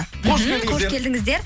мхм қош келдіңіздер